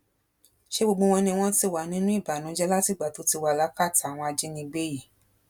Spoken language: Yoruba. ṣe gbogbo wọn ni wọn ti wà nínú ìbànújẹ látìgbà tó ti wà lákàtà àwọn ajínigbé yìí